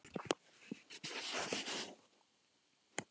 Þetta var dularfullur köttur, sérlundaður mjög.